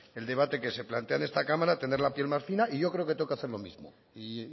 el debate que se plantea en esta cámara tener la piel más fina y yo creo que tengo hacer lo mismo y